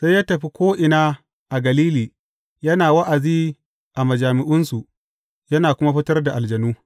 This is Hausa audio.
Sai ya tafi ko’ina a Galili, yana wa’azi a majami’unsu, yana kuma fitar da aljanu.